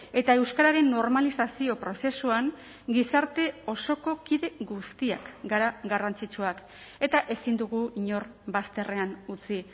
eta euskararen normalizazio prozesuan gizarte osoko kide guztiak gara garrantzitsuak eta ezin dugu inor bazterrean utzi